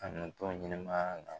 A nɔn t'o ɲɛnɛmaya la.